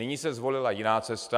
Nyní se zvolila jiná cesta.